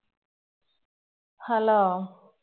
hello